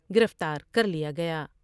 گرفتار کر لیا گیا ۔